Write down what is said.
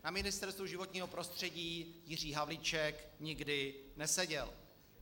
Na Ministerstvu životního prostředí Jiří Havlíček nikdy neseděl.